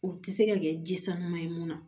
U tɛ se ka kɛ ji sanuman ye mun na